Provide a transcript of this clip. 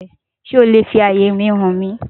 Sé o le fi àyè mi hàn mí?